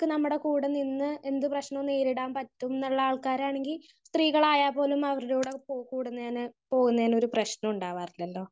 speaker 1 നമ്മുടെ കൂടെ നിന്ന് എന്ത് പ്രശ്നവും നേരിടാൻ പറ്റും ന്നുള്ള ആൾക്കാരാണെങ്കിൽ സ്ത്രീകളായാൽ പോലും അവരുടെ കൂടെ കൂട്ട് കൂടുന്നതിന് പോകുന്നതിന് ഒരു പ്രശ്നവും ഉണ്ടാവാറില്ലല്ലോ